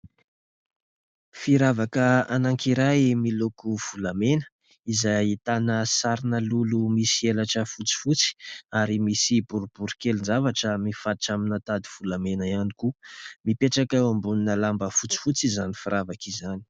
Firavaka anankiray miloko volamena izay ahitana sarina lolo misy elatra fotsifotsy ary misy boribory kelin-javatra mifatotra amin'ny tady volamena ihany koa. Mipetraka eo ambonina lamba fotsifotsy izany firavaka izany.